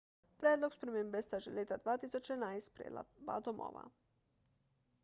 predlog spremembe sta že leta 2011 sprejela oba domova